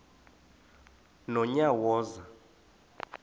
nonyawoza